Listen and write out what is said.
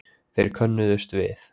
Þeir könnuðust við